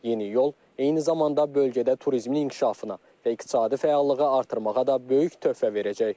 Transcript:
Yeni yol eyni zamanda bölgədə turizmin inkişafına və iqtisadi fəallığı artırmağa da böyük töhfə verəcək.